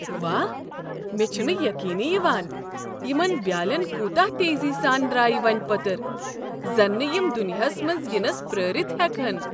واہ، مےٚ چُھنہٕ یقینٕیہ یوان یِمن بیالین کوتاہ تیزی سان درٛایہ وونہٕ پٔتٕرِ۔ زن نہٕ یِم دُنیاہس منٛز ینٕس پرٛٲرِتھ ہیكہن۔